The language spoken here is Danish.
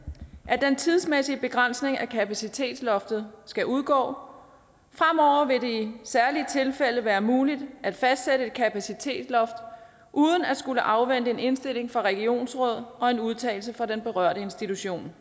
at den tidsmæssige begrænsning af kapacitetsloftet skal udgå fremover vil det i særlige tilfælde være muligt at fastsætte et kapacitetsloft uden at skulle afvente en indstilling fra regionsrådet og en udtalelse fra den berørte institution